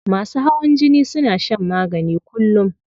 Masu hawan jini suna shan magani kullum.